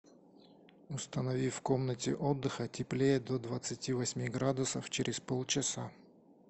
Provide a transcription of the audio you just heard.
установи в комнате отдыха теплее до двадцати восьми градусов через полчаса